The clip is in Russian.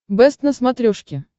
бэст на смотрешке